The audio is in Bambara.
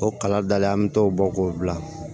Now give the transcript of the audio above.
O kala dalen an mi t'o bɔ k'o bila